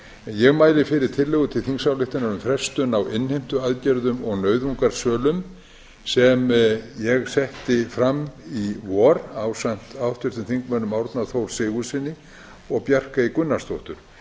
ég mæli fyrir tillögu til þingsályktunar um frestun á innheimtuaðgerðum og nauðungarsölum sem ég setti fram í vor ásamt háttvirtum þingmönnum árna þór sigurðssyni og bjarkeyju gunnarsdóttur þingsályktunartillagan